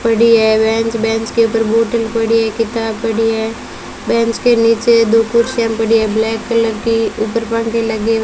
पड़ी है bench bench के ऊपर बॉटल पड़ी है किताब पड़ी है बेंच के नीचे दो कुर्सियां पड़ी हैं ब्लैक कलर की ऊपर पंखे लगे --